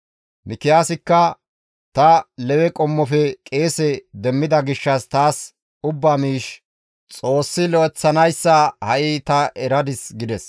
Mikiyaasikka, «Ta Lewe qommofe qeese demmida gishshas taas ubba miish Xoossi lo7eththanayssa ha7i ta eradis» gides.